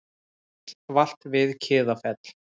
Bíll valt við Kiðafell